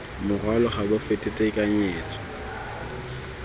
morwalo ga bo fete tekanyetso